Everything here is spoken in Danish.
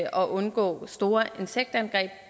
og undgå store insektangreb